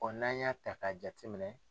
n'an y'a ta k'a jate minɛ.